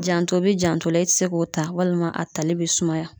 Janto be janto la e te se k'o ta walima a tali b'i sumaya